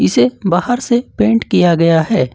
इसे बाहर से पेंट किया गया है।